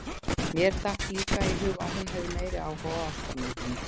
Mér datt líka í hug að hún hefði meiri áhuga á ástarmyndinni!